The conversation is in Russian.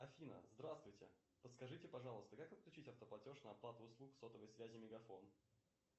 афина здравствуйте подскажите пожалуйста как отключить автоплатеж на оплату услуг сотовой связи мегафон